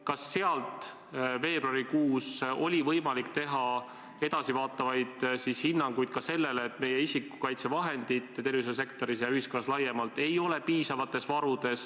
Kas selle alusel oli veebruarikuus võimalik anda edasivaatavaid hinnanguid ka sellele, et meie isikukaitsevahendite varud nii tervishoiusektoris kui ka ühiskonnas laiemalt ei ole piisavad?